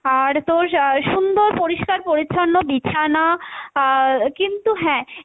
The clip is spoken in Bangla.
আর তোর আহ সুন্দর পরিষ্কার পরিচ্ছন্ন বিছানা আহ কিন্তু হ্যাঁ,